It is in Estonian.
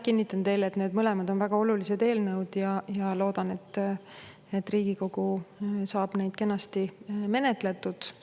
Kinnitan teile, et need mõlemad on väga olulised eelnõud, ja loodan, et Riigikogu saab need kenasti menetletud.